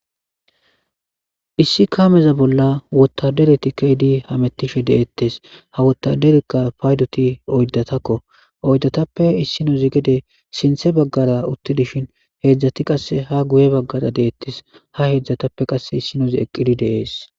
Issi kaameza bolla wotadereti keydi hamettishe deettes ha wotaderekka paydoti oydatakko oyddatappe issinozi gede sinthe baggara utti dishin heedzdzati qasse ha guye baggara deettes ha heedzdzatappe qasse issinozi eqqidi deees